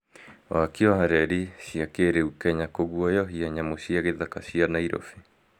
waki wa reri cia kĩrĩu kenya kũguoyohia nyamũ cia gĩthaka cia Nairobi